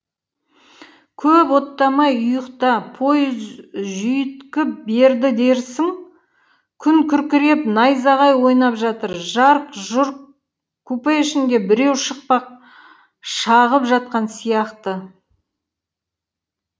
көп оттамай ұйықта пойыз жүйіткіп берді дерсің күн күркіреп найзағай ойнап жатыр жарқ жұрқ купе ішінде біреу шықпақ шағып жатқан сияқты